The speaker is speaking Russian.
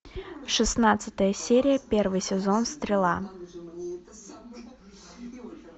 шестнадцатая серия первый сезон стрела